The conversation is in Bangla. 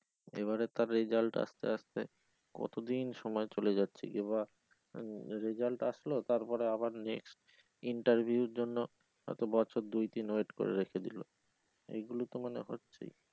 এবারে তার result আসতে আসতে কতদিন সময় চলে যাচ্ছে কিংবা result আসলেও তারপরে আবার interview এর জন্য হয়তো বছর দুই তিন wait করে রেখে দিলো এগুলো তো মানে হচ্ছেই।